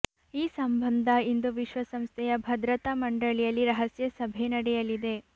ಈ ಸಂಬಂಧ ಇಂದು ವಿಶ್ವಸಂಸ್ಥೆಯ ಭದ್ರತಾ ಮಂಡಳಿಯಲ್ಲಿ ರಹಸ್ಯ ಸಭೆ ನಡೆಯಲಿದೆ